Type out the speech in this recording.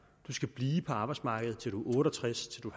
du skal blive på arbejdsmarkedet til du er otte og tres til du